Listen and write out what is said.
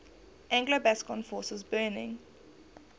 anglo gascon forces burning